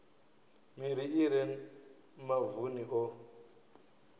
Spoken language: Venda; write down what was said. miri i re mavuni o